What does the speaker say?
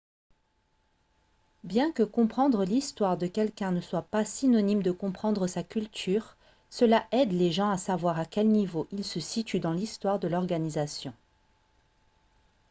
bien que comprendre l'histoire de quelqu'un ne soit pas synonyme de comprendre sa culture cela aide les gens à savoir à quel niveau ils se situent dans l'histoire de l'organisation